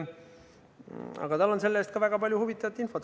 Aga see-eest on tal ka väga palju huvitavat infot.